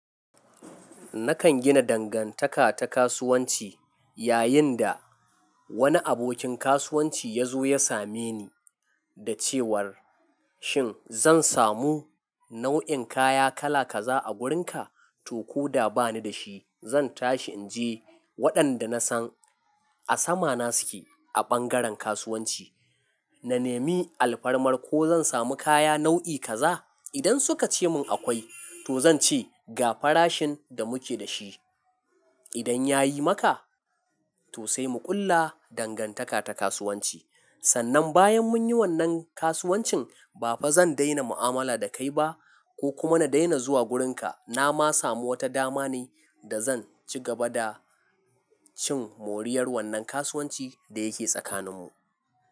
Nakan gina dangantaka ta kasuwanci, yayin da wani abokin kasuwanci ya zo ya same ni da cewar, "Shin zan samu nau'in kaya kala kaza a gurin ka?" To ko da bani da shi, zan tashi in je waɗanda na san a sama na suke a ɓangaren kasuwanci. Na nemi alfarmar ko zan samu kaya nau'i kaza. Idan suka ce mun akwai, to zan ce, "Ga farashin da muke da shi. Idan ya yi maka, to sai mu ƙulla dangantaka ta kasuwanci." Sannan bayan mun yi wannan kasuwancin, ba fa zan daina mu'amala da kai ba ko kuma na daina zuwa gurin ka. Na ma samu wata dama ne, da zan ci gaba da cin moriyar wannan kasuwancin da yake tsakaninmu.